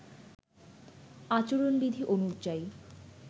আচরণবিধি অনুযায়ী